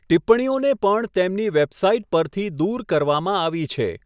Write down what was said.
ટિપ્પણીઓને પણ તેમની વેબસાઇટ પરથી દૂર કરવામાં આવી છે.